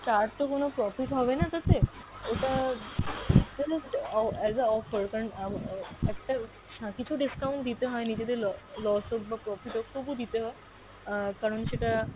তার তো কোনো profit হবে না এটা তে। ওটা, ওটা just অ~ as a offer কারন উম অ একটা হ্যাঁ কিছু discount দিতে হয় নিজেদের ল~ loss হোক বা profit হোক তবু দিতে হয়। আহ কারন সেটা